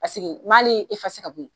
n b'ale ka bɔ yen